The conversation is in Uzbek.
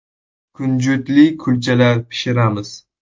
Kunjutli kulchalar pishiramiz.